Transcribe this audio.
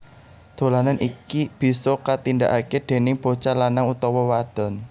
Dolanan iki bisa katindakake déning bocah lanang utawa wadon